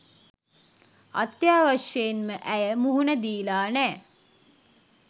අත්‍යවශ්‍යයෙන්ම ඇය මුහුණ දීලා නෑ.